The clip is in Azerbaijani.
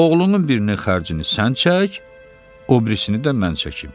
Oğlunun birinin xərcini sən çək, o birisini də mən çəkim.